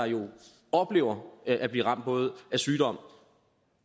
oplever at blive ramt både af sygdom